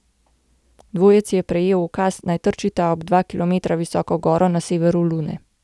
Dvojec je prejel ukaz, naj trčita ob dva kilometra visoko goro na severu Lune.